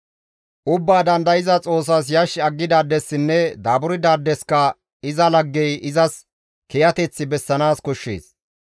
«Ubbaa Dandayza Xoossas yash aggidaadessinne daaburdaadeska iza laggey izas kiyateth bessanaas koshshees.